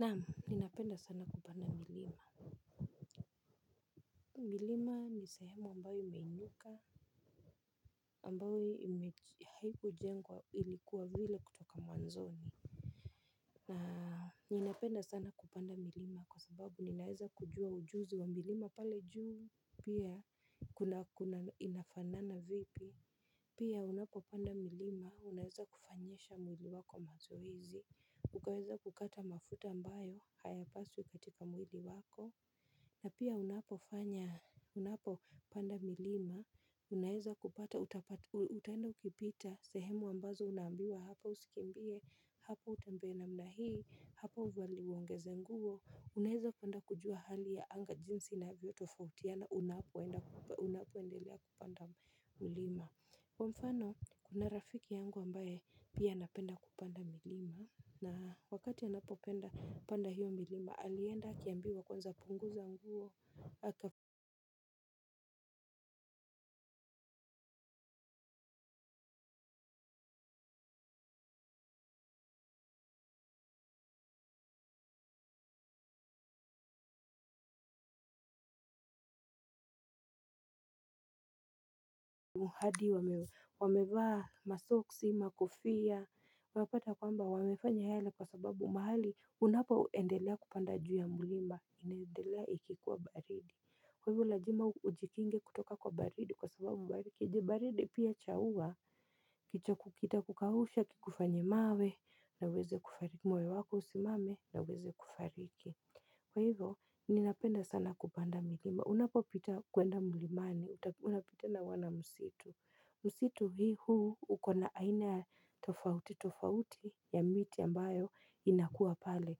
Naam ninapenda sana kupanda milima. Milima ni sehemu ambayo imeinuka ambayo haikujengwa ilikuwa vile kutoka mwanzoni. Na ninapenda sana kupanda milima kwa sababu ninaweza kujua ujuzi wa milima pale juu. Pia inafanana vipi. Pia unapopanda milima unaweza kufanyisha mwili wako mazoezi. Ukaweza kukata mafuta ambayo hayapaswi katika mwili wako. Na pia unapofanya, unapopanda milima, unaweza kupata, utaenda ukipita, sehemu ambazo unaambiwa hapa usikimbie, hapa utembee namna hii, hapa uongeze nguo, unaweza kwenda kujua hali ya anga jinsi inavyotofautiana unapoendelea kupanda milima. Kwa mfano kuna rafiki yangu ambaye pia anapenda kupanda milima na wakati anapopanda hiyo milima alienda kuambiwa kwanza punguza nguo hadi wamevaa masoksi makofia unapata kwamba wamefanya yale kwa sababu mahali unapaendelea kupanda juu ya milima inendelea ikikuwa baridi. Kwa hivyo lazima ujikinge kutoka kwa baridi kwa sababu baridi pia cha ua kita kukausha kikufanye mawe naweze kufariki moyo wako usimame nauweze kufariki. Kwa hivyo ninapenda sana kupanda milima, unapopita kwenda mlimani, unapita na msitu. Msitu huu uko na aina tofauti ya miti ambayo inakuwa pale.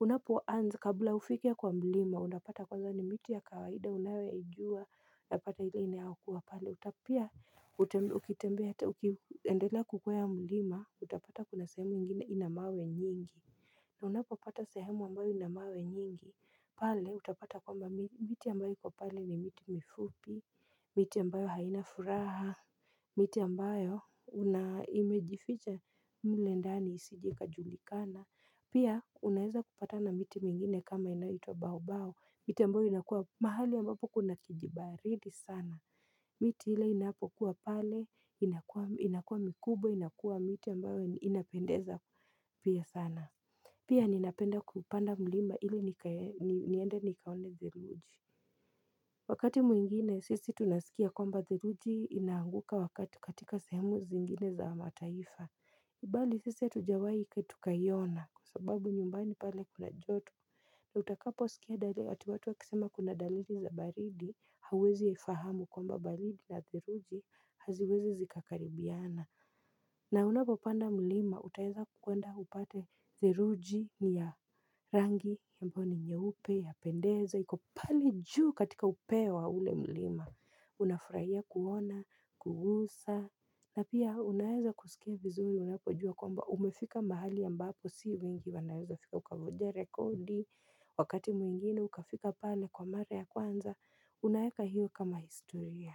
Unapoanza kabla hufike kwa mlima unapata kwanza ni miti ya kawaida unaojua unapata ile inayokuwa pale pia ukitembea hata ukiendelea kukwea mlima utapata kuna sehemu ingine ina mawe nyingi. Na unapopata sehemu ambayo ina mawe nyingi pale utapata kwamba miti ambayo iko pale ni miti mifupi. Miti ambayo haina furaha miti ambayo imejificha mle ndani isije ikajulikana pia unaweza kupata na miti mingine kama hii inaitwa baobao miti ambayo inakuwa mahali ambapo kuna kijibaridi sana miti ile inapokuwa pale inakuwa mikubwa inakuwa miti ambayo inapendeza pia sana pia ninapenda kupanda mlima ili niende nikaone theluji. Wakati mwingine sisi tunasikia kwamba theluji inanguka wakati katika sehemu zingine za mataifa bali sisi hatujawahi tukaiona kwa sababu nyumbani pale kuna joto. Na utakaposikia watu wakisema kuna dalili za baridi hawezi fahamu kwamba baridi na theluji haziwezi zikakaribiana. Na unapopanda mlima, utaweza kwenda upate theluji ni ya rangi, ambayo ni nyeupe, yapendeza, iko pale juu katika kilele cha ule mlima, unafurahia kuona, kugusa. Na pia unaweza kusikia vizuri, unapojua kwamba umefika mahali ambapo, si wengi wanaweza fika ukavunja rekodi, wakati mwingine ukafika pale kwa mare ya kwanza, unaweka hiyo kama historia.